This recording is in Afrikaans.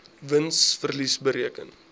wins verlies bereken